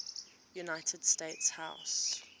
united states house